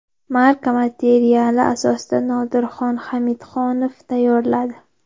Marca materiali asosida Nodirxon Hamidxonov tayyorladi !